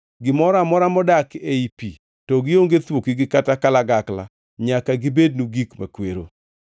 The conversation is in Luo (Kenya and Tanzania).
Gimoro amora modak ei pi to gionge thuokgi kata kalagakla nyaka gibednu gik makwero.